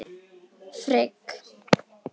Frigg